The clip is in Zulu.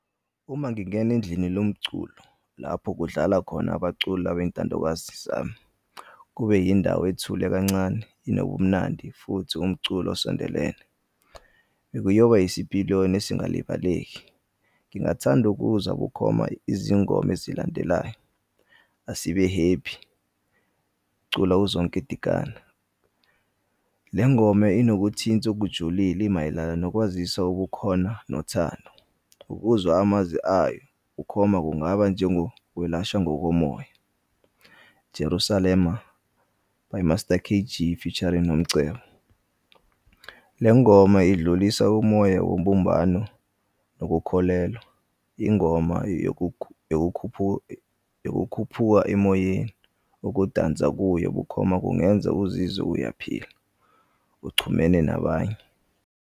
Uma ngingena endlini lomculo lapho kudlala khona abaculi labayizintandokazi zami, kube yindawo ethule kancane nobumnandi futhi umculo osondelene bekuyoba isipiliyoni esingalibaleki. Ngingathanda ukuzwa bukhoma izingoma ezilandelayo, Asibe Happy culwa uZonke Dikana. Le ngoma inokuthinth'kujulile imayelana nokwazisa ubukhona nothando. Ukuzwa amazwi ayo bukhoma kungaba njengokwelashwa ngokomoya, Jerusalema by Master K_G featuring Nomcebo. Lengoma idlulisa umoya wobumbano nokukholelwa, ingoma yokukhuphuka emoyeni. Ukudansa kuyo bukhoma kungenza uzizwe uyaphila uchumene nabanye.